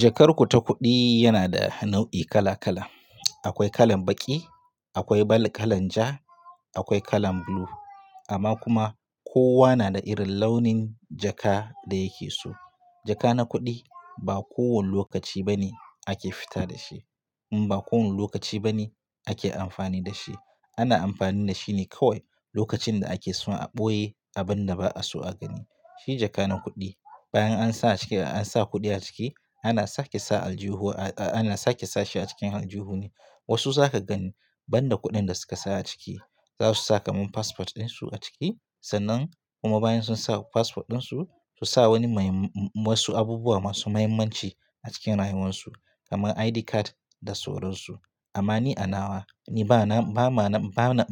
Jakar ku ta kuɗi yana da nau'i kala kala. Akwai kalan baƙi, akwai kala ja, akwai kala blue amma kuma kowa na da irin launin jaka da yake so. Jaka na kuɗi ba kowane lokaci bane ake fita da shi, kuma ba kowane lokaci bane ake amfani da shi. Ana amfani da shi ne kawai lokacin da ake son a ɓoye abin da ba a so a gani. Shi jaka na kuɗi bayan an sa a ciki an sa kuɗi a ciki ana sake sa aljihuwa a, ana sake sa shi a cikin aljihu ne. Wasu za ka gani banda kuɗin da suka sa a ciki, za su sa kaman passport din su a ciki sannan kuma bayan sun saka passport din su, su sa wani wasu abubuwa masu muhimmanci a cikin rayuwarsu kamar ID card da sauransu. Amma ni a nawa ni bana, bana, bana,